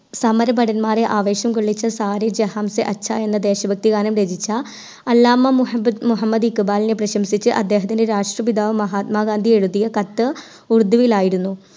സമര ഭടന്മാരെ ആവേശം കൊള്ളിച്ച സാരേ ജഹാംസേ അച്ഛാ എന്ന ദേശഭക്തിഗാനം രചിച്ച അലാമ മുഹബത് മുഹമ്മദ് ഇക്‌ബാലിനെ പ്രശംസിച്ച് അദ്ദേഹത്തിൻറെ രാഷ്രപിതാവ് മഹാത്മാ ഗാന്ധി എഴുതിയ കത്ത് ഉറുദ്ദിയിലായിരുന്നു